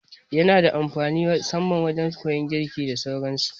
Yana da amfani musamman wajan koyan girki da sauran su